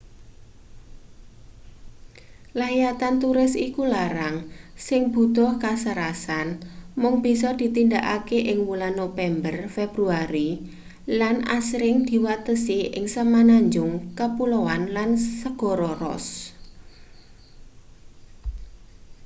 layatan turis iku larang sing butuh kasarasan mung bisa ditindakake ing wulan nopémber-februari lan angsring diwatesi ing semenanjung kapulaoan lan segara ross